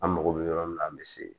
An mago bɛ yɔrɔ min na an bɛ se